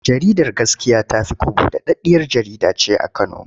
Jaridar Gaskiya ta fi kwabo daɗaɗɗiyar jkjarida ce a Kano.